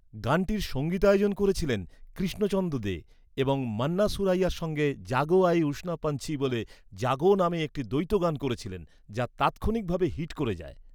গানটির সঙ্গীতায়োজন করেছিলেন কৃষ্ণচন্দ্র দে এবং মান্না সুরাইয়ার সঙ্গে ‘জাগো আয়ে উষা পঞ্চি বলে জাগো’ নামে একটি দ্বৈত গান গেয়েছিলেন যা তাৎক্ষণিকভাবে হিট করে যায়।